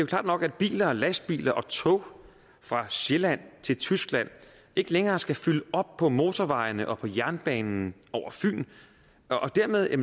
klart nok at biler og lastbiler og tog fra sjælland til tyskland ikke længere skal fylde op på motorvejene og på jernbanen over fyn og dermed er